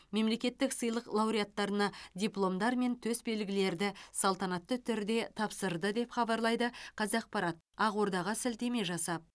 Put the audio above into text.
мемлекеттік сыйлық лауреаттарына дипломдар мен төс белгілерді салтанатты түрде тапсырды деп хабарлайды қазақпарат ақордаға сілтеме жасап